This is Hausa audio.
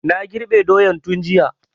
Na girbe doyan tun jiya